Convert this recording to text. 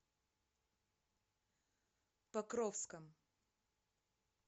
покровском